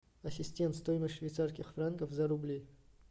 ассистент стоимость швейцарских франков за рубли